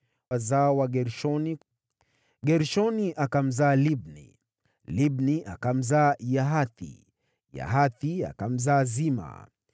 Wazao wa Gershoni: Gershoni akamzaa Libni, Libni akamzaa Yahathi, Yahathi akamzaa Zima,